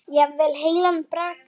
Jafnvel heilan bragga.